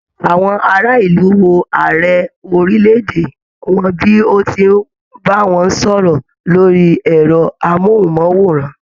Àwọn ará ìlú wò ààrẹ orílẹ̀-èdè wọn bí o tí n bá wọn sọ̀rọ̀ lórí ẹrọ amohunmaworan.